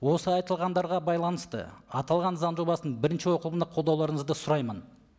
осы айтылғандарға байланысты аталған заң жобасын бірінші оқылымда қолдауларыңызды сұраймын